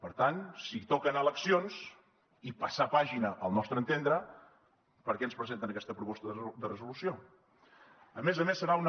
per tant si toca anar a eleccions i passar pàgina al nostre entendre per què ens presenten aquesta proposta de resolució a més a més serà una